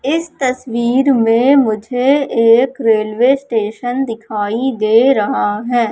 इस तस्वीर में मुझे एक रेलवे स्टेशन दिखाई दे रहा है।